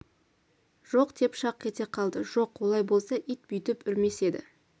жоқ деп шақ ете қалды жоқ олай болса ит бүйтіп үрмес еді